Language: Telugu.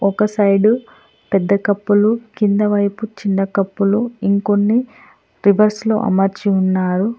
ఒక సైడు పెద్ద కప్పులు కింద వైపు చిన్న కప్పులు ఇంకొన్ని రివర్స్లో అమర్చి ఉన్నారు.